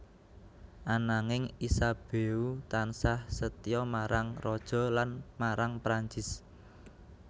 Ananging Isabeau tansah setya marang Raja lan marang Prancis